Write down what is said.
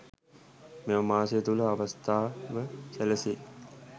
මෙම මාසය තුළ අවස්ථාව සැලසේ